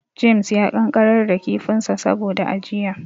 James ya ƙanƙarar da kifinsa saboda ajiya.